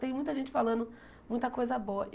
Tem muita gente falando muita coisa boa.